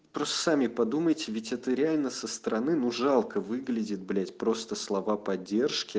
просто сами подумайте ведь это реально со стороны ну жалко выглядит блять просто слова поддержки